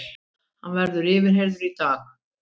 Hann verður yfirheyrður í dag